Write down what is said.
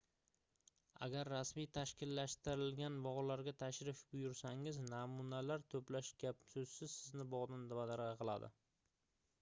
agar rasmiy tashkillashtirilgan bogʻlarga tashrif buyursangiz namunalar toʻplash gap-soʻzsiz sizni bogʻdan badargʻa qiladi